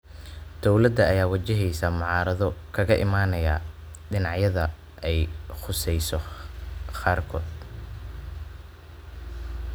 Dowlada ayaa wajaheysa mucaarado kaga imaanaya dhinacyada ay khuseyso qaarkood.